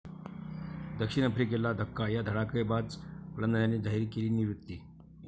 दक्षिण आफ्रिकेला धक्का, या धडाकेबाज फलंदाजाने जाहीर केली निवृत्ती